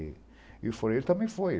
E foi e ele também foi.